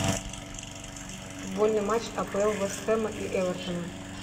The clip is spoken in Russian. футбольный матч апл вест хэма и эвертона